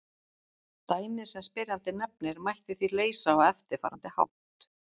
Dæmið sem spyrjandi nefnir mætti því leysa á eftirfarandi hátt.